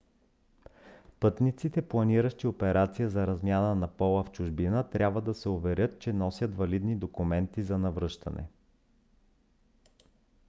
пътниците планиращи операция за смяна на пола в чужбина трябва да се уверят че носят валидни документи за навръщане